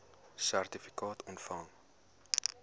sertifikaat ontvang